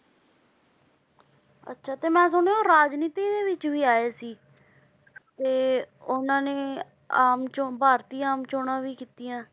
ਅੱਛਾ ਤੇ ਮੈਂ ਸੁਣਿਆ ਉਹ ਰਾਜਨੀਤੀ ਦੇ ਵਿੱਚ ਆਏ ਸੀ ਤੇ ਉਹਨਾਂ ਨੇ ਆਮ ਚੌ~ ਭਾਰਤੀ ਆਮ ਚੌਣਾਂ ਵੀ ਕੀਤੀਆਂ।